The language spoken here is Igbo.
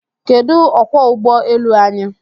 Kedụ okwọọ ụgbọ elu anyị?